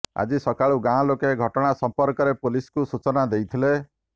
ଆଜି ସକାଳୁ ଗାଁ ଲୋକେ ଘଟଣା ସଂପର୍କରେ ପୁଲିସକୁ ସୂଚନା ଦେଇଥିଲେ